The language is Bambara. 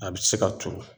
A bɛ se ka turu